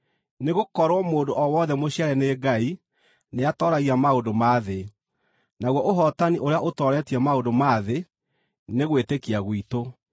Nĩgũkorwo mũndũ o wothe mũciare nĩ Ngai nĩatooragia maũndũ ma thĩ. Naguo ũhootani ũrĩa ũtooretie maũndũ ma thĩ, nĩ gwĩtĩkia gwitũ.